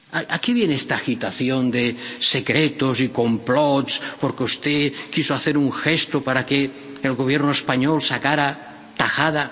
¿A qué viene esta agitación de secretos y complots porque usted quiso hacer un gesto para que el Gobierno español sacara tajada?